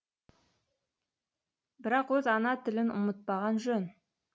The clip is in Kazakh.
бірақ өз ана тілін ұмытпаған жөн